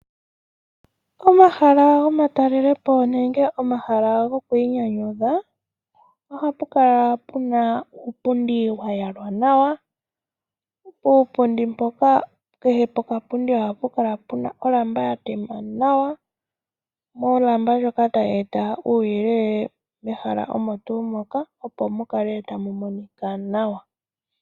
Omahala gomatalelepo nenge omahala gokwiinyanyudha ohapu kala pu n auupundi wa yalwa nawa. Puupundi mpoka kehe pokapundi ohapu kala pu na olamba ya tema nawa, olamba ndjok atayi eta uuyelele mehala omo tuu moka, opo mu kale tamu monika nawa.